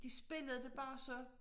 De spillede det bare så